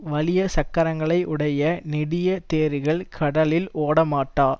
வலிய சக்கரங்களை உடைய நெடிய தேர்கள் கடலில் ஒடமாட்டா